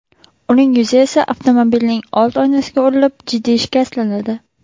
Uning yuzi esa avtomobilning old oynasiga urilib, jiddiy shikastlanadi.